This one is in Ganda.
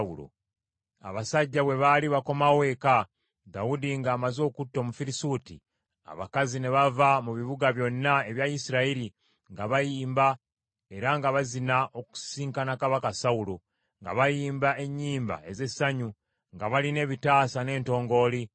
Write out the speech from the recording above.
Awo abasajja bwe baali nga bakomawo eka, Dawudi ng’amaze okutta Omufirisuuti, abakazi ne bava mu bibuga byonna ebya Isirayiri nga bayimba era nga bazina, okusisinkana kabaka Sawulo, nga bayimba ennyimba ez’essanyu, nga balina ebitaasa n’entongooli.